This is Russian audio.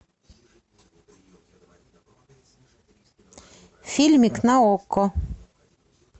фильмик на окко